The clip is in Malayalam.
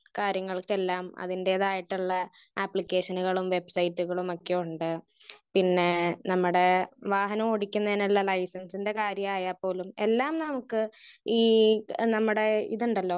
സ്പീക്കർ 1 കാര്യങ്ങൾക്കെല്ലാം അതിന്റെതായിട്ടുള്ള അപ്ലിക്കേഷനുകളും വെബ്സൈറ്റുകളുമൊക്കെ ഉണ്ട്. പിന്നെ നമ്മടെ വാഹനം ഓടിക്കുന്നതിനുള്ള ലൈസൻസിന്റെ കാര്യം ആയ പോലും എല്ലാം നമുക്ക് ഈ നമ്മുടെ ഇത്ണ്ടല്ലോ?